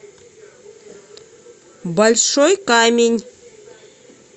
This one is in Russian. большой камень